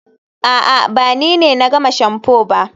a'a, ba ni ne na gama shamfu ba